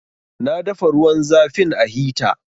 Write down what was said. Na dafa ruwan zafin a hita